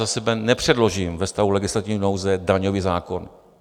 Za sebe nepředložím ve stavu legislativní nouze daňový zákon.